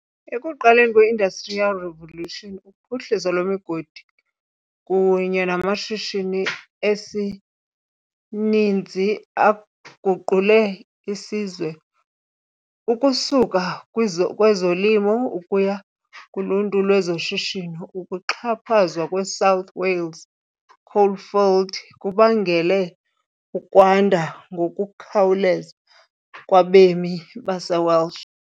Ekuqaleni kwe- Industrial Revolution, uphuhliso lwemigodi kunye namashishini esinyithi aguqule isizwe ukusuka kwizolimo ukuya kuluntu lwezoshishino, ukuxhaphazwa kweSouth "Wales Coalfield" kubangele ukwanda ngokukhawuleza kwabemi baseWelsh.